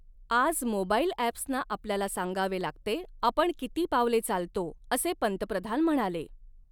आज मोबाइल ॲप्सना आपल्याला सांगावे लागते, आपण किती पावले चालतो, असे पंतप्रधान म्हणाले.